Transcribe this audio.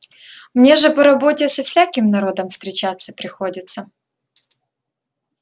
мне же по работе со всяким народом встречаться приходится